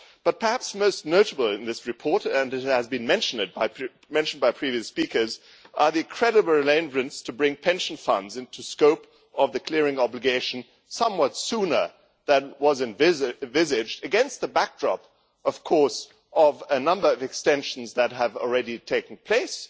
However, perhaps most notable in this report and it has been mentioned by previous speakers are the credible arrangements to bring pension funds into the scope of the clearing obligation somewhat sooner than was envisaged, against the backdrop of a number of extensions that have already taken place.